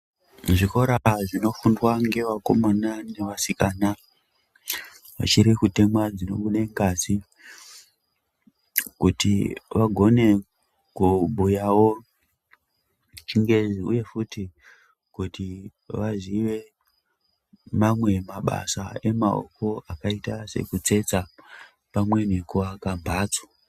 Zvikora zvinofundwa ngevakomana nevasikana vachiri kutemwa dzinobuda ngazi kuti vagone kubhuyawo chingezi uye futi kuti vaziye mamwe mabasa emaoko akaita sekutsetsa pamwe nekuake mhatso.